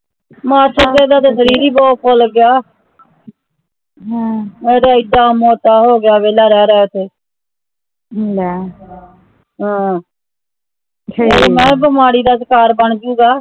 ਮਾਸੜ ਜੀ ਦਾ ਤਾਂ ਸ਼ਰੀਰ ਹੀ ਬਹੁਤ ਫੁਲ ਗਿਆ ਇਹਨਾਂ ਮੋਟਾ ਹੋ ਗਿਆ ਵੇਲ਼ਾ ਰਹਿ ਰਹਿ ਕੇ ਬਿਮਾਰੀ ਦਾ ਸ਼ਿਕਾਰ ਬੰਜੁਗਾ